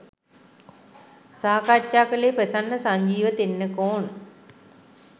සාකච්ඡා කළේ ප්‍රසන්න සංජීව තෙන්නකෝන්